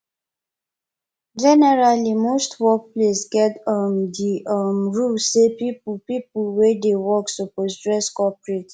generally most workplace get um di um rule sey pipo pipo wey dey work suppose dress corprate